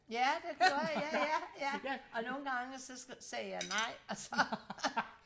ja det gjorde jeg ja ja ja og nogle gange så sagde jeg nej og så